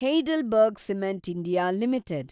Heidelberg cement India limited